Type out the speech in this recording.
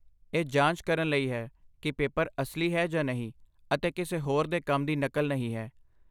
ਇਹ ਜਾਂਚ ਕਰਨ ਲਈ ਹੈ ਕਿ ਪੇਪਰ ਅਸਲੀ ਹੈ ਜਾਂ ਨਹੀਂ ਅਤੇ ਕਿਸੇ ਹੋਰ ਦੇ ਕੰਮ ਦੀ ਨਕਲ ਨਹੀਂ ਹੈ।